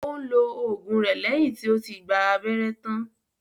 Ó ń lo ògùn rẹ lẹ́yìn tí ó ti gba abẹ́rẹ́ tán